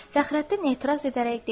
Fəxrəddin etiraz edərək dedi: